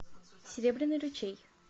серебряный ручей